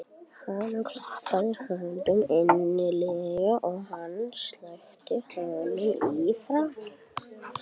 Hún klappaði honum innilega og hann sleikti hana í framan.